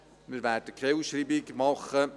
Wir werden keine Ausschreibung mehr machen.